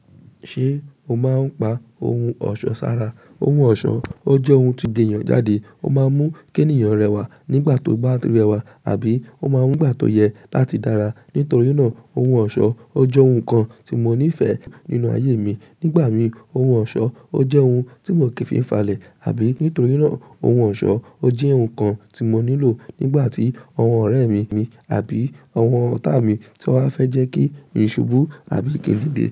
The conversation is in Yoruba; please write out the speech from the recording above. Ṣé o máa ń pa ohun ọ̀ṣọ́ sára? Ohun ọ̀ṣọ́, ó jẹ́ ohun tó le gẹ̀ èèyàn jáde, ó máa ń mú kí èèyàn rẹwà nígbà tó bá rẹwà, àbí ó máa ń mú ìgbà tó yẹ láti dára. Nítorí náà, ohun ọ̀ṣọ́ jẹ́ ohun kan tí mo nífẹ̀ẹ́ nínú ayé mi. Nígbà mìí, ohun ọ̀ṣọ́ o jẹ́ ohun tí mò kí ń fi ń falẹ̀, àbí nítorí náà, ohun ọ̀ṣọ́ o jẹ́ ohun kan tí mo nílò nígbà tí àwọn ọ̀rẹ́ mi àbí àwọn ọ̀tá mi ti wá fẹ́ jẹ́ kí ń ṣubú àbí kí ń dìde.